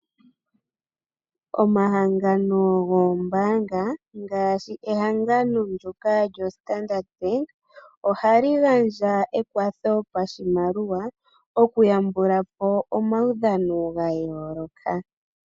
Omahangano goombaanga ngaashi ehangano ndoka lyo Standard bank, ohali gandja ekwatho pashimaliwa okuyambula po omawudhano ga yooloka.